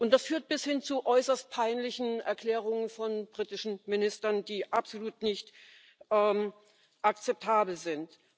Das führt bis hin zu äußerst peinlichen Erklärungen von britischen Ministern, die absolut nicht akzeptabel sind.